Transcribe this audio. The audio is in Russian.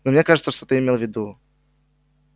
но мне кажется что ты имел в виду